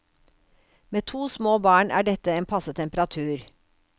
Med to små barn er dette en passe temperatur.